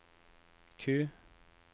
Q